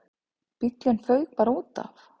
Bíllinn fauk bara útaf.